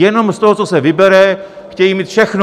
Jenom z toho, co se vybere, chtějí mít všechno!